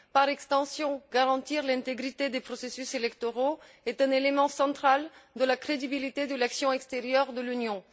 Par extension, garantir l'intégrité des processus électoraux est un élément central de la crédibilité de l'action extérieure de l'Union.